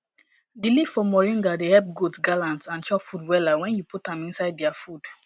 di leaf for mornga dey epp goat gallant and chop food wella wen u put am inisde dia food